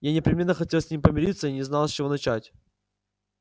я непременно хотел с ним помириться и не знал с чего начать